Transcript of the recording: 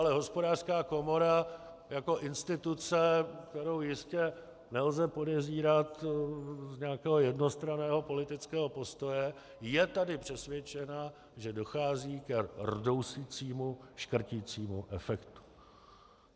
Ale Hospodářská komora jako instituce, kterou jistě nelze podezírat z nějakého jednostranného politického postoje, je tady přesvědčena, že dochází ke rdousicímu, škrticímu efektu.